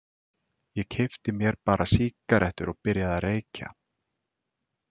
Ég keypti mér bara sígarettur og byrjaði að reykja.